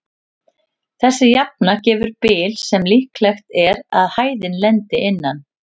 Þessi jafna gefur bil sem líklegt er að hæðin lendi innan.